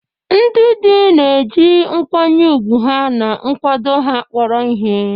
Ndị di na-eji nkwanye ùgwù ha na nkwado ha kpọrọ ihe.